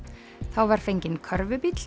þá var fenginn